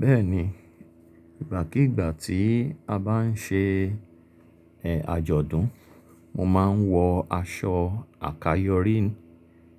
Bẹ́ẹ̀ni, ìgbàkígbà tí a bá ń ṣe ẹ̀ ajọ̀dún, mo máa ń wọ aṣọ àkayòrin